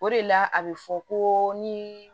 O de la a bɛ fɔ ko ni